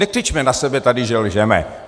Nekřičme na sebe tady, že lžeme.